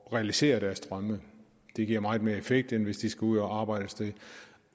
at realisere deres drømme det giver meget mere effekt end hvis de skal ud at arbejde et sted